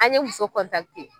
An ye muso